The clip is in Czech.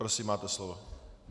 Prosím, máte slovo.